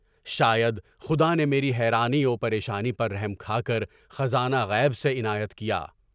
شاید خدا نے میری حیرانی و پریشانی پر رحم کھا کر خزانہ غیب سے عنایت کیا۔